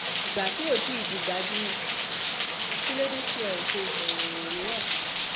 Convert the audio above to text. ìgbà tí kò tí ì di gbajúmọ̀ kí ló dé tí ẹ ò ṣe ìfọ̀rọ̀wérọ̀ fún un